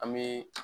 An bɛ